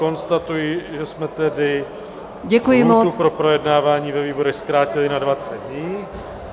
Konstatuji, že jsme tedy... lhůtu pro projednávání ve výborech zkrátili na 20 dní.